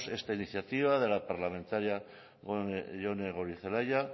esta iniciativa de la parlamentaria jone goirizelaia